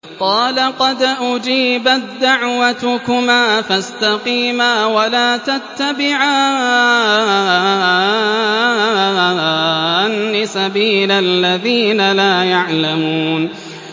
قَالَ قَدْ أُجِيبَت دَّعْوَتُكُمَا فَاسْتَقِيمَا وَلَا تَتَّبِعَانِّ سَبِيلَ الَّذِينَ لَا يَعْلَمُونَ